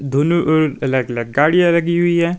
दोनों ओर अलग अलग गाड़िया लगी हुई हैं।